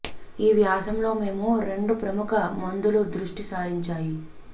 ఈ వ్యాసం లో మేము రెండు ప్రముఖ మందులు దృష్టి సారించాయి